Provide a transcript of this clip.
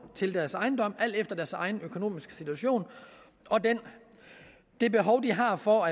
til deres ejendom alt efter deres egen økonomiske situation og det behov de har for